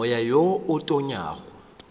moya wo o tonyago o